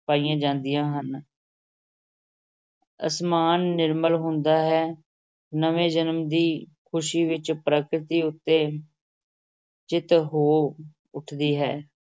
ਪਾਈਆਂ ਜਾਂਦੀਆਂ ਹਨ ਅਸਮਾਨ ਨਿਰਮਲ ਹੁੰਦਾ ਹੈ, ਨਵੇਂ ਜਨਮ ਦੀ ਖ਼ੁਸ਼ੀ ਵਿਚ ਪ੍ਰਕਿਰਤੀ ਉਤੇ ਜਿਤ ਹੋ ਉੱਠਦੀ ਹੈ।